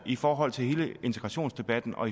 i forhold til hele integrationsdebatten og